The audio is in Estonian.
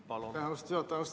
Aitäh, austatud juhataja!